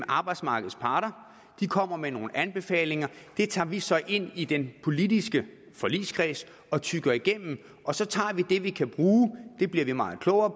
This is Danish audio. arbejdsmarkedets parter de kommer med nogle anbefalinger det tager vi så ind i den politiske forligskreds og tygger igennem og så tager vi det vi kan bruge det bliver vi meget klogere